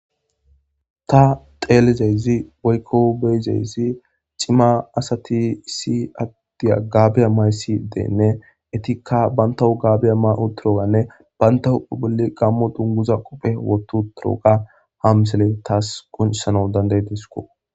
ta xeelizeyzi woykko beyizeyzi cima asati issi addiya gaabiya maysi deenne etikka bantawu gaabiya ma7u toroganne bayntau bolli gammo dunguza qope woto toroga hamsele taas qoncissana danday disko